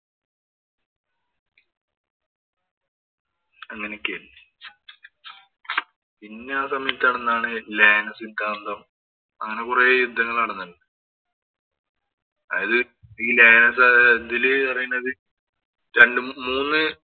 അങ്ങനെയൊക്കെയായിരുന്നു. പിന്നെ ആ സമയത്ത് നടന്നയായിരുന്നു ലയന സിദ്ധാന്തം. അങ്ങനെ കൊറേ യുദ്ധങ്ങള് നടന്നു. അതില് ഈ ലയന സിദ്ധാന്തത്തില് പറയുന്നത് രണ്ട് മൂന്ന്